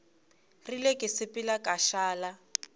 rile go sepela ka šala